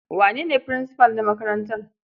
Wane ne furinsifal na makarantar?